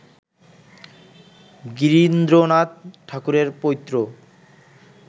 গিরীন্দ্রনাথ ঠাকুরের পৌত্র